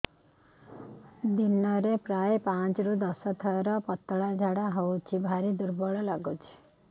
ଦିନରେ ପ୍ରାୟ ପାଞ୍ଚରୁ ଦଶ ଥର ପତଳା ଝାଡା ହଉଚି ଭାରି ଦୁର୍ବଳ ଲାଗୁଚି